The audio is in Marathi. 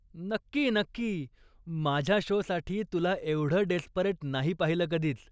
नक्की, नक्की. माझ्या शोसाठी तुला एवढं डेस्परेट नाही पाहिलं कधीच!